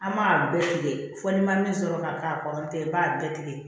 An m'a bɛɛ tigɛ fo n'i ma min sɔrɔ ka k'a kɔrɔ ntɛ i b'a bɛɛ tigɛ